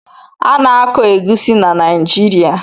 Ana-akọ egwusi na Naijiria.